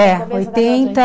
É, oitenta